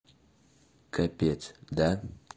капец да